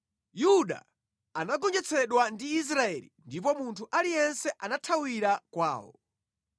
Yuda anagonjetsedwa ndi Israeli ndipo munthu aliyense anathawira kwawo.